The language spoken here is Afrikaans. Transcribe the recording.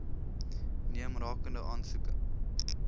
neem rakende aansoeke